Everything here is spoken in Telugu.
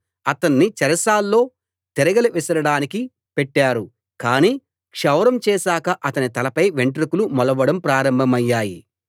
అతణ్ణి చెరసాల్లో తిరగలి విసరడానికి పెట్టారు కాని క్షౌరం చేశాక అతని తలపై వెంట్రుకలు మొలవడం ప్రారంభమయ్యాయి